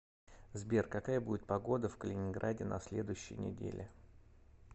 сбер какая будет погода в калининграде на следующей неделе